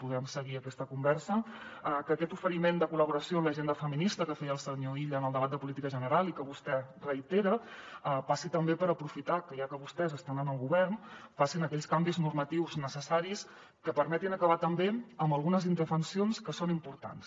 podrem seguir aquesta conversa que aquest oferiment de col·laboració en l’agenda feminista que feia el senyor illa en el debat de política general i que vostè reitera passi també per aprofitar que ja que vostès estan en el govern facin aquells canvis normatius necessaris que permetin acabar també amb algunes indefensions que són importants